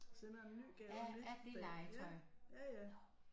Sender en ny gave og nyt ja ja ja